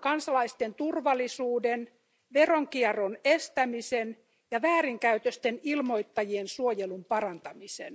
kansalaisten turvallisuuden, veronkierron estämisen ja väärinkäytösten ilmoittajien suojelun parantamisen.